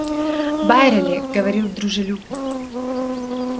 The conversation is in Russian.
байерли говорил дружелюбно